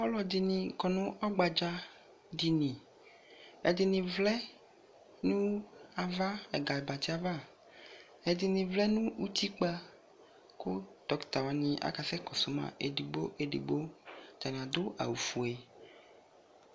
Ɔlɔde ne kɔ no ɔgbadza diniƐdene vlɛ no ava ɛga barse ava, Ɛdene vlɛ no utikpa ko dɔkita wane akasɛ kɔdo ma edigbo edigbo Atane ado awufue